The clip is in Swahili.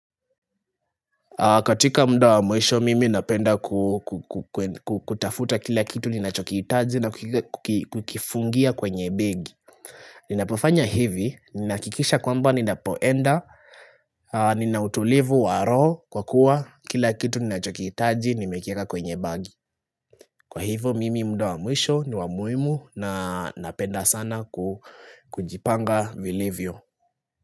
Katika muda wa mwisho mimi napenda kutafuta kila kitu ninachokiitaji na kukifungia kwenye begi Ninapofanya hivi, ninahakikisha kwamba ninapoenda Ninautulivu wa roho kwa kuwa kila kitu ninachokiitaji nimekieka kwenye bagi Kwa hivo mimi muda wa mwisho ni wa muhimu na napenda sana kujipanga vilivyo.